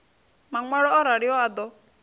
maṋwalo o raliho a ḓo